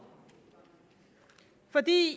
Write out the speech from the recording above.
fordi